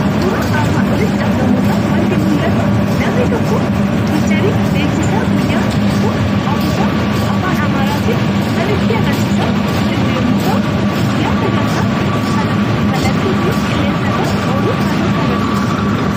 Suuraa armaan olitti argamu irraa waanti mul'atu; namni tokko fiicharii beeksisaa guyyaan tokko hafuusaa afaan amaaratin kan nutti agarsiisaa jiru yommuu ta'u, guyyaa sangantaa sanaa kallattii ittiin qilleensa irra oolu kan nutti agarsiisudha.